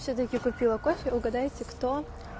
всё-таки купила кофе угадайте кто